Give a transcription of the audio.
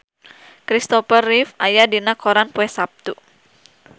Christopher Reeve aya dina koran poe Saptu